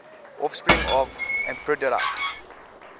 offspring of aphrodite